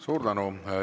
Suur tänu!